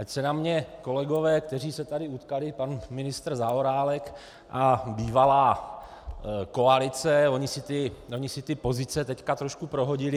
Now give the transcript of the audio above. Ať se na mě kolegové, kteří se tady utkali, pan ministr Zaorálek a bývalá koalice, oni si ty pozice teď trošku prohodili.